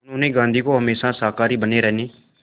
उन्होंने गांधी को हमेशा शाकाहारी बने रहने